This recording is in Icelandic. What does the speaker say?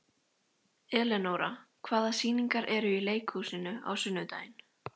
Elenóra, hvaða sýningar eru í leikhúsinu á sunnudaginn?